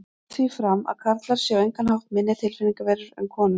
Ég held því fram að karlar séu á engan hátt minni tilfinningaverur en konur.